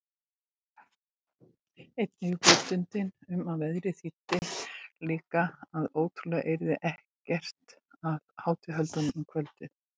Einnig vitundin um að veðrið þýddi líka að trúlega yrði ekkert af hátíðahöldum um kvöldið.